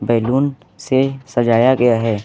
Balloon से सजाया गया है।